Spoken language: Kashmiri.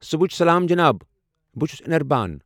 صٗبحچہِ سلام جِناب، بہٕ چھس انِربان۔